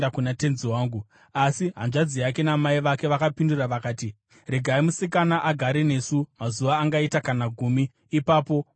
Asi hanzvadzi yake namai vake vakapindura vakati, “Regai musikana agare nesu mazuva angaita kana gumi; ipapo mungazoenda henyu.”